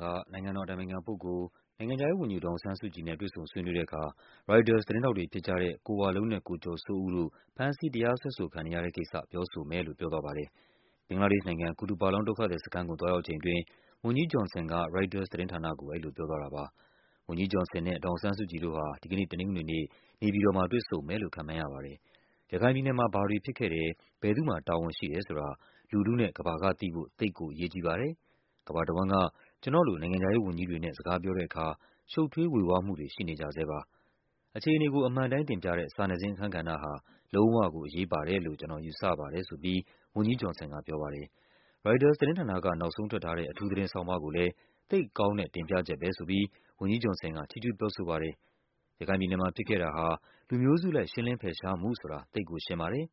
က နိုင်ငံတော်အတိုင်ပင်ခံပုဂ္ဂိုလ်၊ နိုင်ငံခြားရေးဝန်ကြီး ဒေါ်အောင်ဆန်းစုကြည်နဲ့ တွေ့ဆုံဆွေးနွေးတဲ့အခါ ရိုက်တာသတင်းထောက်တွေဖြစ်ကြတဲ့ ကိုဝလုံးနဲ့ ကိုကျော်စိုးတို့ ဖမ်းဆီး တရားစွဲဆိုခံနေရတဲ့ကိစ္စ ပြောဆိုမယ်လို့ ပြောသွားပါတယ်။ ဘင်္ဂလားဒေ့ရှ်နိုင်ငံ၊ Kutupalong ဒုက္ခသည်စခန်းကို သွားရောက်ချိန်အတွင်း ဝန်ကြီး Johnson က ရိုက်တာသတင်းဌာနကို အဲဒီ လိုပြောသွားတာပါ။ ဝန်ကြီး Johnson နဲ့ ဒေါ်အောင်ဆန်းစုကြည်တို့ဟာ ဒီကနေ့ တနင်္ဂနွေနေ့ နေပြည်တော်မှာ တွေ့ဆုံမယ်လို့ ခန့်မှန်းရပါတယ်။ ရခိုင်ပြည်နယ်မှာ ဘာတွေဖြစ်ခဲ့တယ်၊ ဘယ်သူ့မှာ တာဝန်ရှိတယ်ဆိုတာ လူထုနဲ့ ကမ္ဘာကသိဖို့ သိပ်ကိုအရေးကြီးပါတယ်၊ ကမ္ဘာ့ တဝန်းက ကျနော့်လို နိုင်ငံခြားရေးဝန်ကြီးတွေနဲ့ စကားပြောတဲ့အခါ ရှုပ်ထွေး ဝေဝါးမှုတွေ ရှိနေဆဲပါ၊ အခြေအနေအမှန်အတိုင်း တင်ပြတဲ့ စာနယ်ဇင်း အခန်းကဏ္ဍဟာ လုံးဝကို အရေးပါတယ်လို့ ကျနော်ယူဆပါတယ်ဆိုပြီး ဝန်ကြီး Johnson ကပြောပါတယ်။ ရိုက်တာသတင်းဌာနက နောက်ဆုံးထွက်ထားတဲ့ အထူး သတင်းဆောင်းပါးကိုလည်း သိပ်ကောင်းတဲ့ တင်ပြချက်ပဲဆိုပြီး ဝန်ကြီး Johnson က ချီးကျူးပြောဆိုပါတယ်။ ရခိုင်ပြည်နယ်မှာဖြစ်ခဲ့တာဟာ လူမျိုးစုအလိုက် ရှင်းလင်းဖယ်ရှားမှုဆိုတာ သိပ်ရှင်းပါတယ်၊